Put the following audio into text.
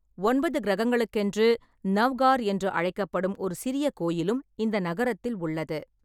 ஒன்பது கிரகங்களுக்கென்று நௌகர் என்று அழைக்கப்படும் ஒரு சிறிய கோயிலும் இந்த நகரத்தில் உள்ளது.